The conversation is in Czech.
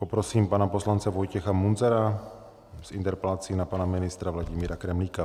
Poprosím pana poslance Vojtěcha Munzara s interpelací na pana ministra Vladimíra Kremlíka.